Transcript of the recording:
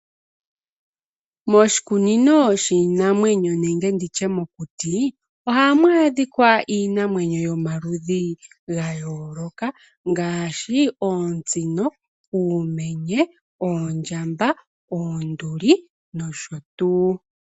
Moshikunino shiinamwenyo nenge mokuti ohamu adhika iinamwenyo yoma ludhi ga yooloka ngaashi oosino, uumenye, oondjamba, oonduli nosho tuu.